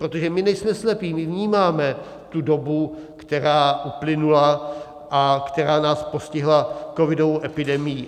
Protože my nejsme slepí, my vnímáme tu dobu, která uplynula a která nás postihla covidovou epidemií.